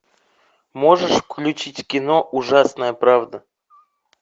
можешь включить кино ужасная правда